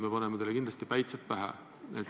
Me paneme teile kindlasti päitsed pähe.